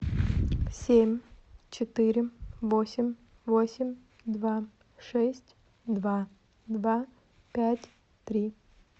семь четыре восемь восемь два шесть два два пять три